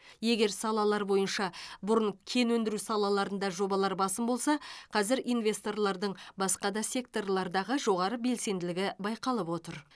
егер салалар бойынша бұрын кен өндіру салаларында жобалар басым болса қазір инвесторлардың басқа да секторлардағы жоғары белсенділігі байқалып отыр